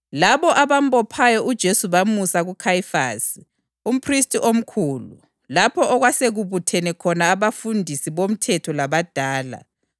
Labo abambophayo uJesu bamusa kuKhayifasi, umphristi omkhulu, lapho okwasekubuthene khona abafundisi bomthetho labadala.